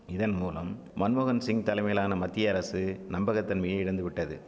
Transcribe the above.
இதன்மூலம் மன்மோகன்சிங் தலைமையிலான மத்திய அரசு நம்பகத்தன்மையை இழந்துவிட்டது